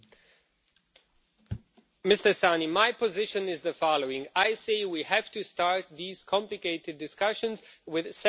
Mr Szanyi, my position is the following we have to start these complicated discussions with setting the political priorities.